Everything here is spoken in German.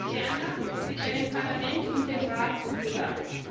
Ferner wird er dem Parlament und dem Rat zugesandt.